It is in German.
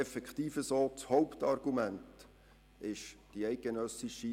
Das Hauptargument ist die SSV.